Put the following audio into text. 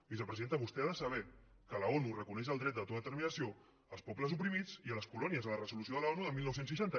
vicepresidenta vostè ha de saber que l’onu reconeix el dret d’autodeterminació als pobles oprimits i a les colònies en la resolució de l’onu del dinou seixanta